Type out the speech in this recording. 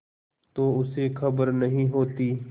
तो उसे खबर नहीं होती